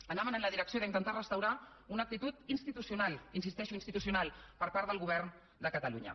anaven en la direcció d’intentar restaurar una actitud institucional hi insisteixo institucional per part del govern de catalunya